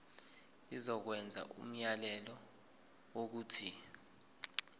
izokwenza umyalelo wokuthi